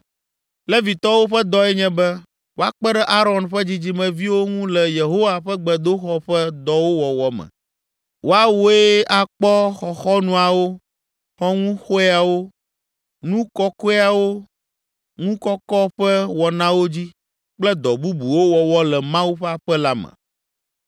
Levitɔwo ƒe dɔe nye be, woakpe ɖe Aron ƒe dzidzimeviwo ŋu le Yehowa ƒe gbedoxɔ ƒe dɔwo wɔwɔ me. Woawoe akpɔ, xɔxɔnuawo, xɔŋuxɔewo, nu kɔkɔeawo ŋu kɔkɔ ƒe wɔnawo dzi kple dɔ bubuwo wɔwɔ le Mawu ƒe aƒe la me.